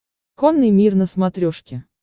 конный мир на смотрешке